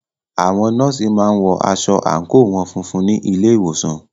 Àwọn nọ́ọ̀sì má ń wọ aṣọ àńkò wọn funfun ní ilé ìwòsàn